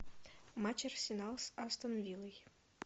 матч арсенал с астон виллой